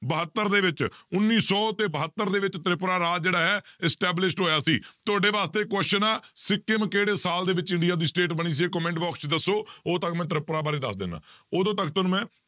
ਬਹੱਤਰ ਦੇ ਵਿੱਚ ਉੱਨੀ ਸੌ ਤੇ ਬਹੱਤਰ ਦੇ ਵਿੱਚ ਤ੍ਰਿਪੁਰਾ ਰਾਜ ਜਿਹੜਾ ਹੈ established ਹੋਇਆ ਸੀ, ਤੁਹਾਡੇ ਵਾਸਤੇ ਇੱਕ question ਆਂ ਸਿੰਕਮ ਕਿਹੜੇ ਸਾਲ ਦੇ ਵਿੱਚ ਇੰਡੀਆ ਦੀ state ਬਣੀ ਸੀ comment box 'ਚ ਦੱਸੋ ਉਦੋਂ ਤੱਕ ਮੈਂ ਤ੍ਰਿਪੁਰਾ ਬਾਰੇ ਦੱਸ ਦਿਨਾ, ਉਦੋਂ ਤੱਕ ਤੁਹਾਨੂੰ ਮੈਂ